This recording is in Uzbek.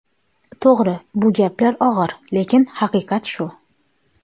To‘g‘ri, bu gaplar og‘ir, lekin haqiqat shu.